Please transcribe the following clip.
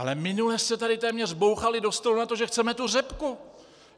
Ale minule jste tady téměř bouchali do stolu na to, že chceme tu řepku!